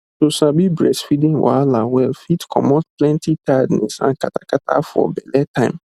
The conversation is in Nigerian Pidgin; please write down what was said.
to sabi breastfeeding wahala well fit comot plenty tiredness and kata kata for belle time